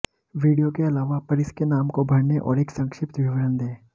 video के अलावा पर इसके नाम को भरने और एक संक्षिप्त विवरण दे